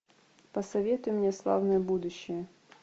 посоветуй мне славное будущее